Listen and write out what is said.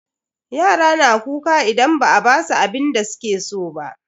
Yara na kuka idan ba a basu abinda suke so ba.